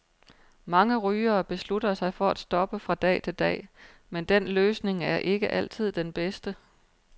Mange rygere beslutter sig for at stoppe fra dag til dag, men den løsning er ikke altid den bedste.